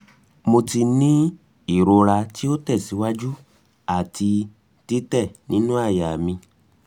mo ti ni ni irora ti o tẹsiwaju ati titẹ ninu àyà mi